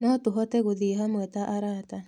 No tũhote gũthiĩ hamwe ta arata.